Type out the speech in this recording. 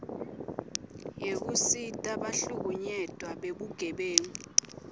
yekusita bahlukunyetwa bebugebengu